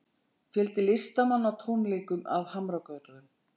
Fjöldi listamanna á tónleikum að Hamragörðum